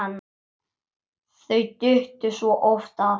Þau duttu svo oft af.